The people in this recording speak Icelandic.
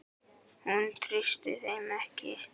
Hún treysti þeim ekki.